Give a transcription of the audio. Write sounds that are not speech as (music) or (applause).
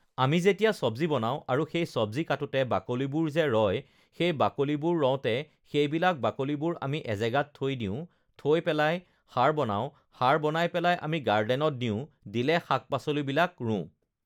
(noise) আমি যেতিয়া চব্জি বনাওঁ আৰু সেই চব্জি কাটোতে বাকলিবোৰ যে ৰয় সেই বাকলিবোৰ ৰওঁতে সেইবিলাক বাকলিবোৰ আমি এজেগাত থৈ দিওঁ থৈ পেলাই সাৰ বনাওঁ সাৰ বনাই পেলাই আমি গাৰ্ডেনত দিওঁ দিলে শাক-পাচলিবিলাক ৰোওঁ